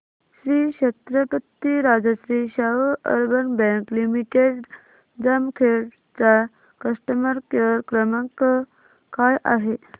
Shri Chhatrapati Rajshri Shahu urban bank limited Jamkhed चा customer care क्रमांक काय आहे